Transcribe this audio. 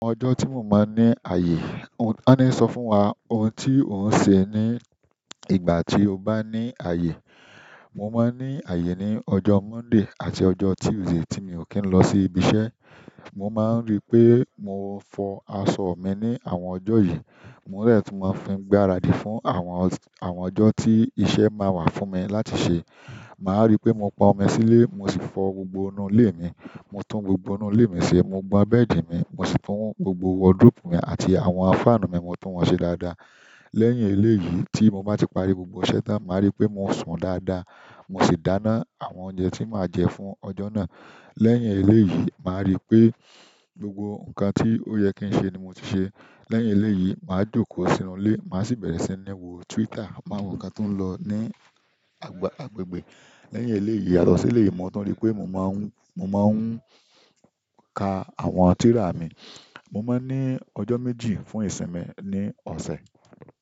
Ojo ti mo ba ni aye, won ni so fún wa ohun ti o inse nigbati o ba ni aye. Mo máa ń ní ààyè ní ọjọ́ Monday àti ọjọ́ Tuesday tí mi ò kí ń lọ sí ibi iṣẹ́. Mo ma nripe mo fo àwọn aṣọ min ni ojo yìí. Mò ń rẹti máa fi ń gbaradì fún àwọn, àwọn ọjọ́ tí iṣẹ́ máa wà fún mi láti ṣẹ. Màá rí pé mo pon ọmi sí ilé, mo sì fọ gbogbo inú ilé mi. Mo tún gbogbo inú ilé mi ṣe, mo gbá bẹ́ẹ̀dì mi, mo sì fọ́n gbogbo wardrobe mi àti àwọn fanú mi, mo tún wọ́n ṣe dáadáa. Lẹ́yìn eléyìí tí mo bá ti parí gbogbo iṣẹ́ tán, màá rí pé mo sùn dáadáa. Mo sì dáná àwọn oúnjẹ tí màá jẹ fún ọjọ́ náà. Lẹ́yìn eléyìí, màá rí pé gbogbo nǹkan tí ó ye kí n ṣe ni mo ti ṣe. Lẹ́yìn eléyìí, màá jókòó sínú ilé, màá sì bẹ̀rẹ̀ sí ní wo Twitter, máa wo nǹkan tó ń lọ ní agb-agbègbè. Lẹ́yìn eléyìí, yàtọ̀ si eleyi, mo tu ripé mo máa ń, mo máa ń ka àwọn tírà mi. Mo máa ń ní ọjọ́ méjì fún ìsinmi ní oṣe.